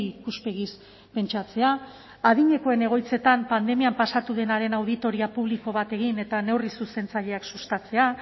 ikuspegiz pentsatzea adinekoen egoitzetan pandemian pasatu denaren auditoria publiko bat egin eta neurri zuzentzaileak sustatzea